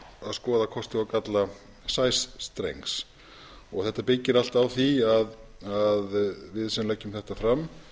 skoða kosti og galla sæstrengs þetta byggir allt á því að við sem leggjum þetta fram